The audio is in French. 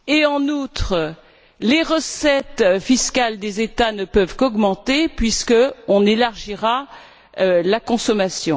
en outre, les recettes fiscales des États ne pourront qu'augmenter puisqu'on élargira la consommation.